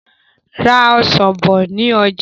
Ra Ọ̀sán bọ̀ ni ọjà!